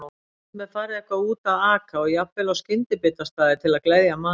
Stundum er farið eitthvað út að aka og jafnvel á skyndibitastaði til að gleðja magann.